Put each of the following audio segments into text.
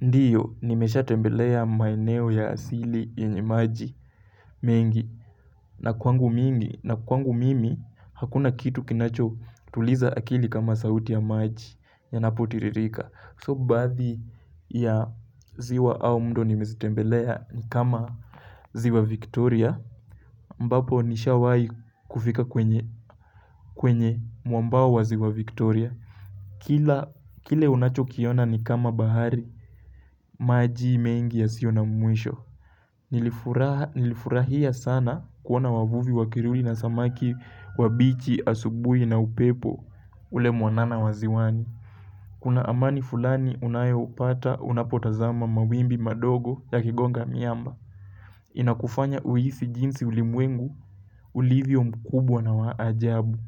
Ndiyo nimeshatembelea maeneo ya asili yenye maji mengi. Na kwangu mimi na kwangu mimi hakuna kitu kinachotuliza akili kama sauti ya maji yanapotiririka So baadhi ya ziwa au mto nimezitembelea ni kama ziwa Victoria ambapo nishawahi kufika kwenye kwenye mwambao wa ziwa Victoria. Kila kile unachokiona ni kama bahari. Maji mengi yasiyo na mwisho nilifurahi. Nilifurahia sana kuona wavuvi wakiruli na samaki wabichi asubuhi na upepo ule mwanana wa ziwani. Kuna amani fulani unayopata unapotazama mawimbi madogo yakigonga miamba. Inakufanya uhisi jinsi ulimwengu ulivyo mkubwa na wa ajabu.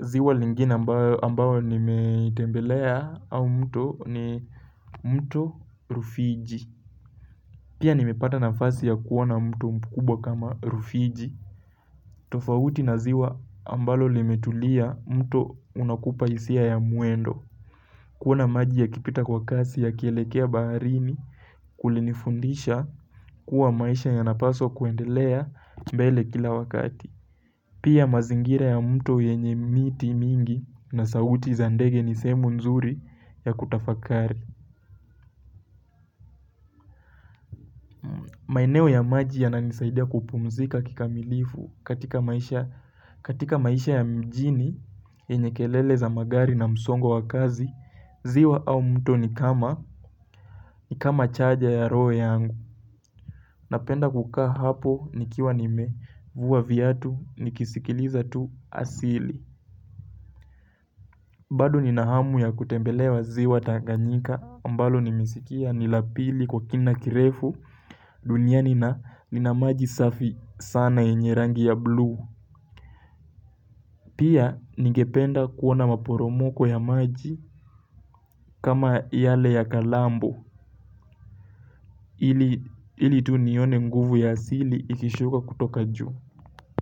Ziwa lingine ambayo nimetembelea au mto ni mto rufiji. Pia nimepata nafasi ya kuona mto mkubwa kama rufiji, tofauti na ziwa ambalo limetulia mto unakupa hisia ya mwendo. Kuona maji yakipita kwa kasi yakielekea baharini kulinifundisha kuwa maisha yanapaswa kuendelea mbele kila wakati. Pia mazingira ya mto yenye miti mingi na sauti za ndege ni sehemu nzuri ya kutafakari. Maeneo ya maji yananisaidia kupumzika kikamilifu katika maisha ya mjini yenye kelele za magari na msongo wa kazi, ziwa au mto ni kama chaja ya roho yangu. Napenda kukaa hapo nikiwa nimevua viatu nikisikiliza tu asili. Bad nina hamu ya kutembelea ziwa tanganyika ambalo nimesikia ni la pili kwa kina kirefu duniani na ina maji safi sana yenye rangi ya bluu. Pia ningependa kuona maporomoko ya maji kama yale ya kalambo ili tu nione nguvu ya asili ikishuka kutoka juu.